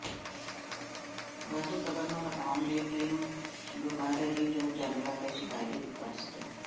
ਵਾਧੂ ਕਵਰ ਨੂੰ ਹਟਾਉਣ ਲਈ ਟ੍ਰਿਮ ਡੂਬਾਰਰੀ ਜੋ ਜਾਨਵਰਾਂ ਦੇ ਸ਼ਿਕਾਰੀ ਲੁਕਾ ਸਕੇ